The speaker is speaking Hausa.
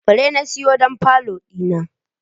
fure na siyo don falo dina.